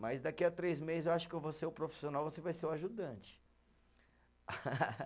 Mas daqui a três meses eu acho que eu vou ser o profissional, você vai ser o ajudante.